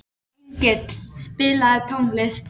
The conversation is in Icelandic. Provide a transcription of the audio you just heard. Engill, spilaðu tónlist.